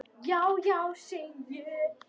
Já, já, segi ég.